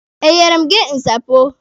E nyere m gị nsapo?